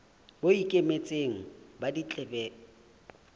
bo ikemetseng ba ditletlebo e